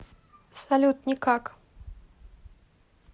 салют никак